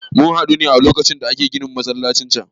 Mun haɗu a lokacin da ake ginin masallacin can.